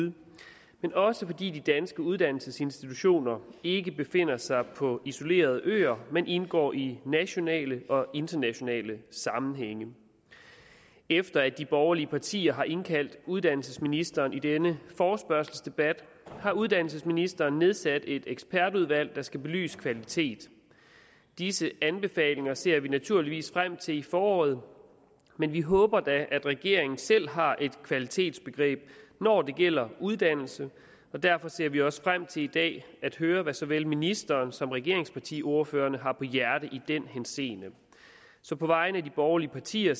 det er også fordi de danske uddannelsesinstitutioner ikke befinder sig på isolerede øer men indgår i nationale og internationale sammenhænge efter at de borgerlige partier har indkaldt uddannelsesministeren til denne forespørgselsdebat har uddannelsesministeren nedsat et ekspertudvalg der skal belyse kvalitet disse anbefalinger ser vi naturligvis frem til i foråret men vi håber da at regeringen selv har et kvalitetsbegreb når det gælder uddannelse derfor ser vi også frem til i dag at høre hvad såvel ministeren som regeringspartiordførerne har på hjerte i den henseende så på vegne af de borgerlige partier